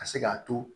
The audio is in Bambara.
Ka se k'a to